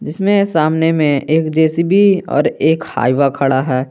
इसमें सामने में एक जे_सी_बी और एक हाईवा खड़ा है।